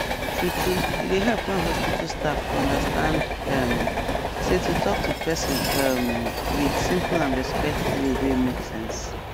true true e dey help when hospital staff understand um say to talk to person um with simple and respectful way wey make sense